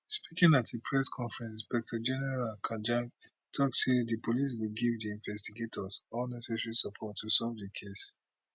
speaking at a press conference inspector general kanja tok say di police go give di investigators all necessary support to solve di case